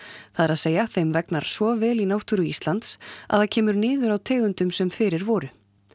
það er að segja þeim vegnar svo vel í náttúru Íslands að það kemur niður á tegundum sem fyrir voru